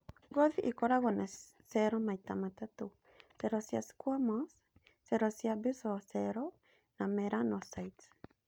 ngothi ikororagwo na cero maita matatu: cero cia squamous , cero cia basal cells, na melanocytes